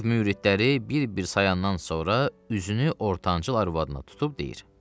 Bu növ müridləri bir-bir sayandan sonra üzünü ortancıl arvadına tutub deyir: